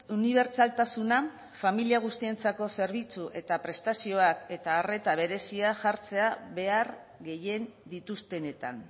unibertsaltasuna familia guztientzako zerbitzu eta prestazioak eta arreta berezia jartzea behar gehien dituztenetan